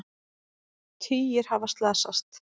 Tugir hafa slasast